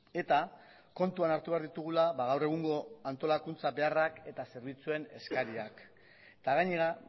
eta kontuan hartu behar ditugula gaur egungo antolakuntza beharrak eta zerbitzuen eskariak eta gainera